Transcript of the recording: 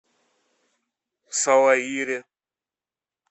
салаире